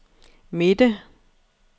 midte